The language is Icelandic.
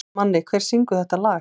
Manni, hver syngur þetta lag?